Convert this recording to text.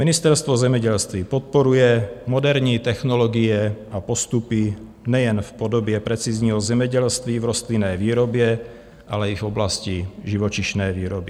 Ministerstvo zemědělství podporuje moderní technologie a postupy nejen v podobě precizního zemědělství v rostlinné výrobě, ale i v oblasti živočišné výroby.